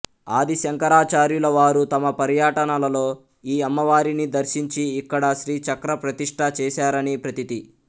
ఆది శంకరాచార్యులవారు తమ పర్యటనలలో ఈ అమ్మవారిని దర్శించి ఇక్కడ శ్రీచక్ర ప్రతిష్ఠ చేసారని ప్రతీతి